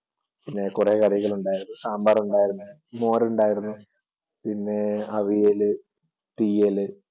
പിന്നെ കുറെ കറികളുണ്ടായിരുന്നു സാമ്പാറുണ്ടായിരുന്നു മോരുണ്ടായിരുന്നു പിന്നെ അവിയല് തീയല്